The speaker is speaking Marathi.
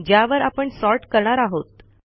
ज्यावर आपण सॉर्ट करणार आहोत